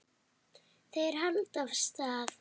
Þeir halda af stað.